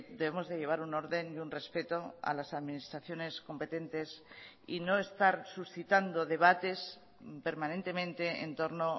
debemos de llevar un orden y un respeto a las administraciones competentes y no estar suscitando debates permanentemente en torno